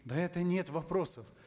да это нет вопросов